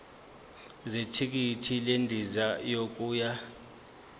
zethikithi lendiza yokuya